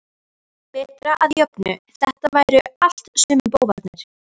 Breta að jöfnu- þetta væru allt sömu bófarnir.